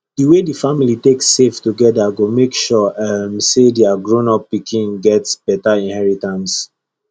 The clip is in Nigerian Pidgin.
the way the family take save together go make sure um say their grownup pikin get better inheritance